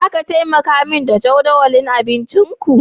Zaka taimaka min da jadawalin abincinku?